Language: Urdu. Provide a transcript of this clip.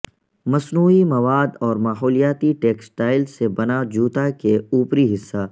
مصنوعی مواد اور ماحولیاتی ٹیکسٹائل سے بنا جوتا کے اوپری حصہ